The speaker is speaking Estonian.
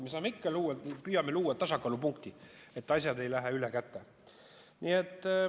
Me saame ikka luua ja püüame luua tasakaalupunkti, et asjad ei läheks ülekäte.